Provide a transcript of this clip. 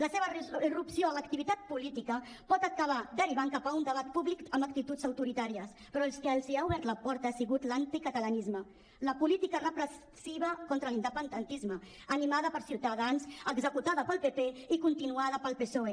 la seva irrupció a l’activitat política pot acabar derivant cap a un debat públic amb actituds autoritàries però el que els ha obert la porta ha sigut l’anticatalanisme la política repressiva contra l’independentisme animada per ciutadans executada pel pp i continuada pel psoe